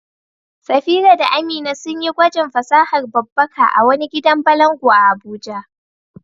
Safira da Amina sun yi gwajin fasahar babbaka a wani gidan balangu a Abuja.